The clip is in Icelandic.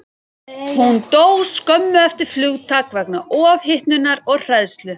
Hún dó skömmu eftir flugtak vegna ofhitnunar og hræðslu.